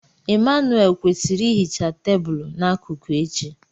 Emmanuelle kwesịrị ihicha tebụl n'akụkụ echi.